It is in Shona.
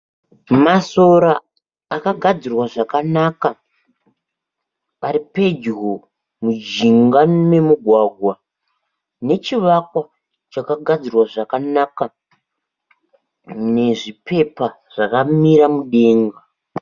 Masora akagadzirwa zvakanaka ari pedyo muzhinga memugwagwa, nechivakwa chakagadzirwa zvakanaka nezvipepa zvakamira mudenga.